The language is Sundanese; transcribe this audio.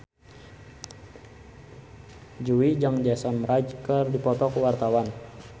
Jui jeung Jason Mraz keur dipoto ku wartawan